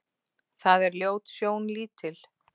Það er ljót sjón lítil.